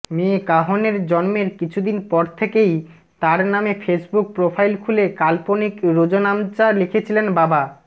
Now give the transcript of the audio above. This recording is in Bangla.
মেয়ে কাহনের জন্মের কিছুদিন পর থেকেই তার নামে ফেসবুক প্রোফাইল খুলে কাল্পনিক রোজনামচা লিখছিলেন বাবা